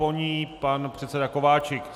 Po ní pan předseda Kováčik.